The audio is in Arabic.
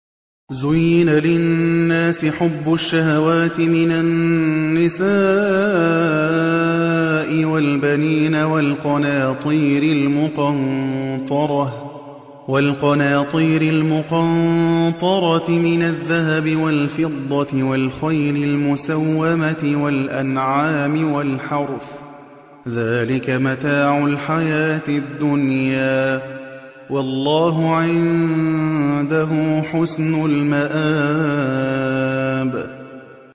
زُيِّنَ لِلنَّاسِ حُبُّ الشَّهَوَاتِ مِنَ النِّسَاءِ وَالْبَنِينَ وَالْقَنَاطِيرِ الْمُقَنطَرَةِ مِنَ الذَّهَبِ وَالْفِضَّةِ وَالْخَيْلِ الْمُسَوَّمَةِ وَالْأَنْعَامِ وَالْحَرْثِ ۗ ذَٰلِكَ مَتَاعُ الْحَيَاةِ الدُّنْيَا ۖ وَاللَّهُ عِندَهُ حُسْنُ الْمَآبِ